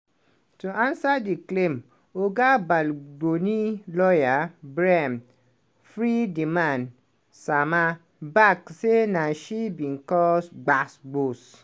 to ansa di claim oga bal-doni lawyer bryan free-di-man sama back say na she bin cause gbas-gbos